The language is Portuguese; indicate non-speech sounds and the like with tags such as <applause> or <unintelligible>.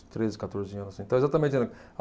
Treze, quatorze anos, então, exatamente. <unintelligible>